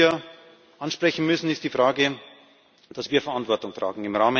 Das Dritte, das wir ansprechen müssen, ist die Frage, dass wir Verantwortung tragen.